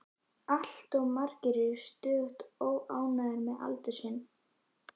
Allt of margir eru stöðugt óánægðir með aldur sinn.